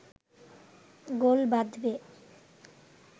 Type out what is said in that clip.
গোল বাঁধবে